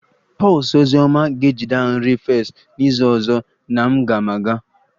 Pulse ozi ọma ga-ejide a nri fest n'izu ọzọ na m ga-maa ịga